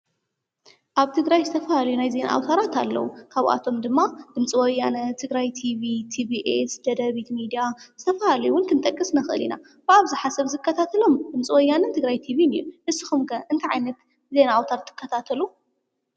ኣብ ትግራይ ዝተፈላለዩ ናይ ዜና ኣዉታራት ኣለው ካብኣቶም ድማ ድምፂ ወያነ ትግራይ ቲቪ፣ ቲቢኤስ፣ ደደቢት ሜድያ ዝተፈላለዩ እውን ክንጥቀስ ንኽእል ኢና ብ ኣብዝሓ ዝከታተሎም ድምፂ ወያነን ትግራይ ቲቪን እዮም ንስኹም ከ እንታይ ዓይነት ዜና ኣውታር ትከታተሉ?